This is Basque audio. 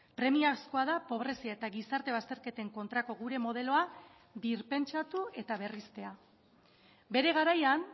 premiazkoa da pobrezia eta gizarte bazterketen kontrako gure modeloa birpentsatu eta berristea bere garaian